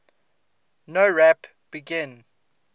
nowrap begin